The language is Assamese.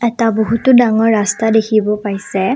এটা বহুতো ডাঙৰ ৰাস্তা দেখিব পাইছে।